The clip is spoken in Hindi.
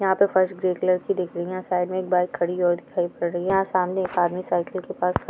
यहा पे फर्श ग्रे कलर की दिख रही है साइड मे बाइक खड़ी सामने आदमी साइकिल के पास--